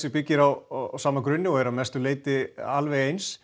byggir á sama grunni og er að mestu leyti eins